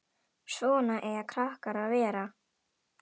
Svona eiga krakkar að vera!